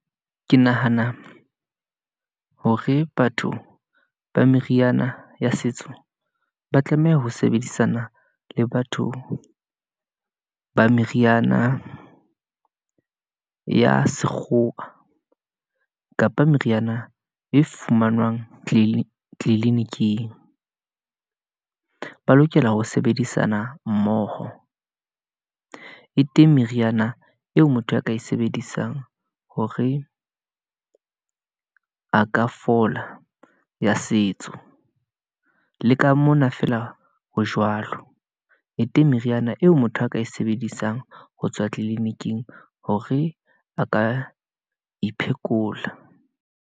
Ke nahana hore batho ba meriana ya setso, ba tlameha ho sebedisana le batho ba meriana ya sekgowa kapa meriana e fumanwang tliliniking , ba lokela ho sebedisana mmoho e teng. Meriana eo motho a ka e sebedisang hore a ka fola, ya setso, le ka mona feela ho jwalo, e teng meriana eo motho a ka e sebedisang ho tswa tliliniking hore a ka iphekola.